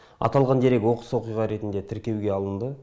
аталған дерек оқыс оқиға ретінде тіркеуге алынды